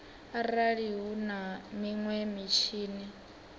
arali hu na minwe mitshini